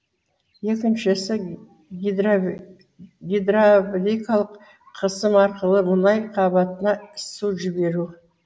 екіншісі гидравликалық қысым арқылы мұнай қабатына су жіберу